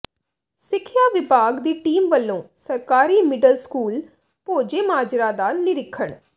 ਸਿੱਖਿਆ ਵਿਭਾਗ ਦੀ ਟੀਮ ਵਲੋਂ ਸਰਕਾਰੀ ਮਿਡਲ ਸਕੂਲ ਭੋਜੇਮਾਜਰਾ ਦਾ ਨਿਰੀਖਣ